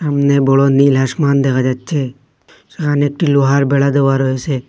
সামনে বড় নীল আসমান দেখা যাচ্ছে সেখানে একটি লোহার বেড়া দেওয়া রয়েসে।